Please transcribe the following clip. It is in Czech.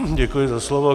Děkuji za slovo.